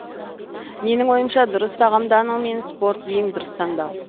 менің ойымша дұрыс тағамдану мен спорт ең дұрыс таңдау